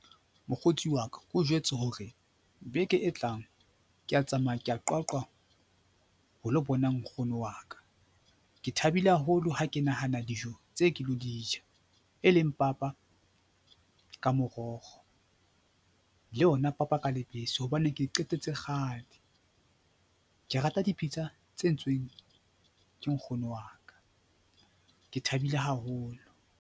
Mokgotsi wa ka, o jwetse hore beke e tlang ke a tsamaya ke ya Qwaqwa ho lo bona nkgono wa ka. Ke thabile haholo ha ke nahana dijo tse ke lo di ja, e leng papa ka morokgo le ona papa ka lebese hobane ke qetetse kgale. Ke rata dipitsa tse entsweng ke nkgono wa ka, ke thabile haholo.